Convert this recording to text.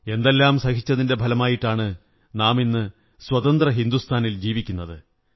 എന്തെല്ലാം സഹിച്ചതിന്റെ ഫലമായിട്ടാണ് നാമിന്ന് സ്വതന്ത്ര ഹിന്ദുസ്ഥാനിൽ ജീവിക്കുന്നത്